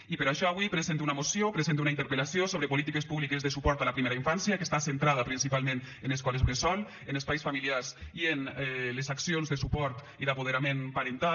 i per això avui presente una moció presente una interpel·lació sobre polítiques públiques de suport a la primera infància que està centrada principalment en escoles bressol en espais familiars i en les accions de suport i d’apoderament parental